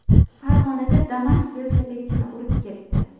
Farg‘onada Damas velosipedchini urib ketdi.